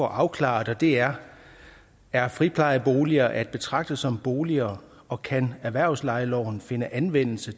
afklares og det er er friplejeboliger at betragte som boliger og kan erhvervslejeloven finde anvendelse